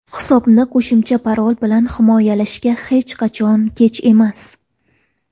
Hisobni qo‘shimcha parol bilan himoyalashga hech qachon kech emas.